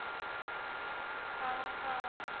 ଓଃ ହୋ